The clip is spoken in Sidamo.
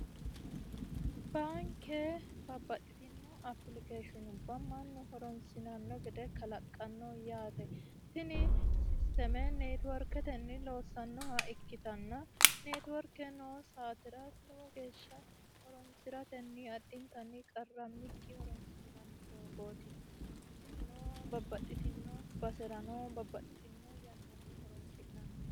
Baanke babbaxitino applicationubba mannu horonsirano gede kalaqano yaate tini netiworketeni ikkittana netiworke noo saatera lowo geeshsha horonsiratenni qarra tirate horonsi'nanni doogoti, tinino babbaxitino yannara horonsi'nanni.